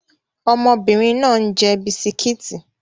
Ọmọbìnrin náà ń jẹ bisikíìtì